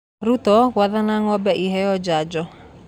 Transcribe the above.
Ruto gwathana ng'ombe iheeo njanjo